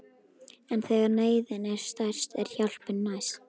En þegar neyðin er stærst er hjálpin næst.